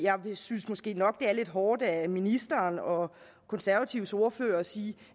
synes måske nok det er lidt hårdt af ministeren og konservatives ordfører at sige